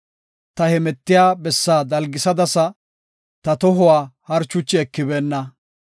Ta hemetiya bessaa dalgisadasa; ta tohuwa harchuchi ekibeenna.